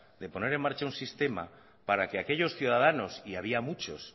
de poner en marcha un sistema para que aquellos ciudadanos y había muchos